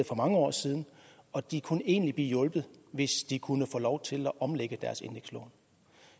for mange år siden og de kunne egentlig blive hjulpet hvis de kunne få lov til at omlægge deres indekslån